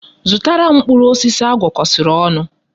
Zụtara m mkpụrụ osisi agwọkosiri onu